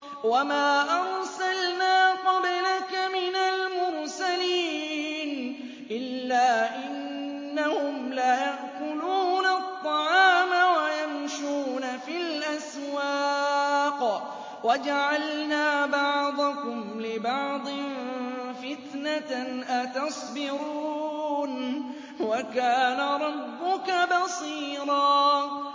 وَمَا أَرْسَلْنَا قَبْلَكَ مِنَ الْمُرْسَلِينَ إِلَّا إِنَّهُمْ لَيَأْكُلُونَ الطَّعَامَ وَيَمْشُونَ فِي الْأَسْوَاقِ ۗ وَجَعَلْنَا بَعْضَكُمْ لِبَعْضٍ فِتْنَةً أَتَصْبِرُونَ ۗ وَكَانَ رَبُّكَ بَصِيرًا